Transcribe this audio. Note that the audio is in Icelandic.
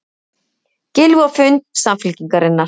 Gylfi á fund Samfylkingarinnar